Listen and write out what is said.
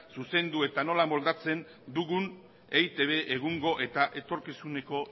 zuzendu eta nola moldatzen dugun eitb egungo eta etorkizuneko